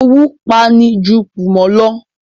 Owú pa'ni ju kùmọ̀ lọ